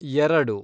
ಎರಡು